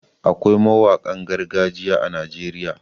Akwai mawanƙan gargajiya a Najeriya.